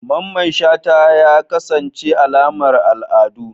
Mamman shata ya kasance alamar al'adu